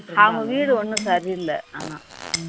அவங்க வீடு ஒன்னும் சரி இல்லை ஆனா